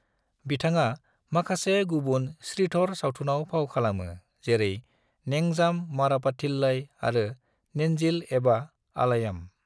बिथाङा माखासे गुबुन श्रीधर सावथुनआव फाव खालामो जेरै नेंजाम मरप्पाथिल्लई आरो नेन्जिल एबा आलयम।